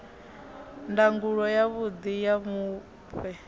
ndangulo ya vhuḓi ha mufhe